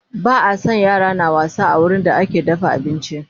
Ba a San yara na wasa a wurin da ake dafa abinci